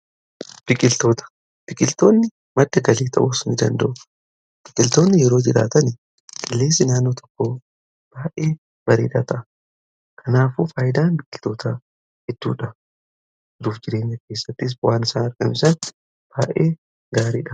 Biqiltoonni madda galii ta'uus ni danda'u. Biqiltoonni yoo jiraatan qilleensi naannoo tokkoo baay'ee bareedaa ta'a. Kanaafuu faayidaan biqiltootaa hedduudha. Jiruuf jireenya keessattis bu'aan isaan argamsiisan baay'ee gaariidha.